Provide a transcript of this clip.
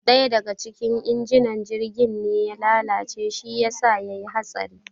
ɗaya daga cikin injinan jirgin ne ya lalace shi yasa yayi hatsari